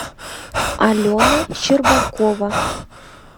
алена щербакова